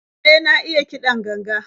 E, na iya kiɗan ganga.